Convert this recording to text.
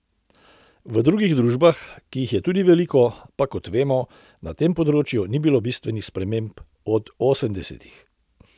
V drugih družbah, ki jih je tudi veliko, pa kot vemo, na tem področju ni bilo bistvenih sprememb od osemdesetih.